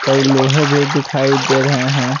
कई लोहे भी दिखाई दे रहे हैं।